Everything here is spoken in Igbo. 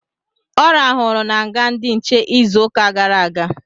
Ọ rahụru na nga ndị nche izu ụka gara aga